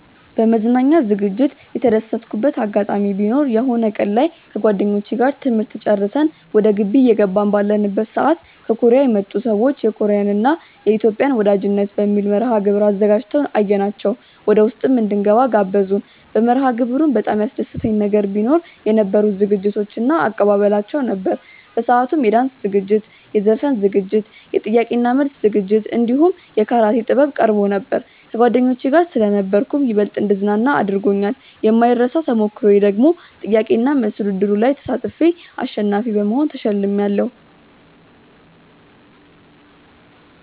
በመዝናኛ ዝግጅት የተደሰትኩበት አጋጣሚ ቢኖር የሆነ ቀን ላይ ከጓደኞቼ ጋር ትምህርት ጨርሰን ወደ ግቢ እየገባን ባለንበት ሰዓት ከኮርያ የመጡ ሰዎች የኮርያን እና የኢትዮጵያን ወዳጅነት በሚል መርሐግብር አዘጋጅተው አየናቸው ወደውስጥ እንድንገባም ጋበዙን። በመርሐግብሩም በጣም ያስደሰተኝ ነገር ቢኖ የነበሩት ዝግጅቶች እባ አቀባበላቸው ነበር። በሰአቱም የዳንስ ዝግጅት፣ የዘፈን ዝግጅት፣ የጥያቄ እና መልስ ዝግጅት እንዲሁም የካራቴ ጥበብ ቀርቦ ነበር። ከጓደኞቼ ጋር ስለነበርኩም ይበልጥ እንድዝናና አድርጎኛል። የማይረሳው ተሞክሮዬ ደግሞ ጥያቄ እና መልስ ውድድሩ ላይ ተሳትፌ አሸናፊ በመሆን ተሸልሜያለው።